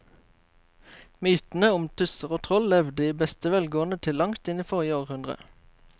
Mytene om tusser og troll levde i beste velgående til langt inn i forrige århundre.